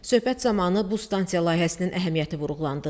Söhbət zamanı bu stansiya layihəsinin əhəmiyyəti vurğulandı.